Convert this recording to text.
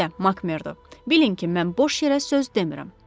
Siz də Makmerdo, bilin ki, mən boş yerə söz demirəm.